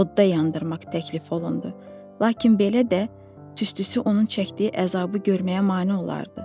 Odda yandırmaq təklif olundu, lakin belə də tüstüsü onun çəkdiyi əzabı görməyə mane olardı.